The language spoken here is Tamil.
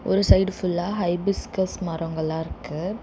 ஒரு சைடு ஃபுல்லா ஹைபிஸ்கஸ் மரங்களா இருக்கு.